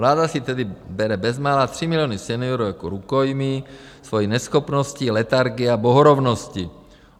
Vláda si tedy bere bezmála 3 miliony seniorů jako rukojmí svojí neschopností, letargií a bohorovností.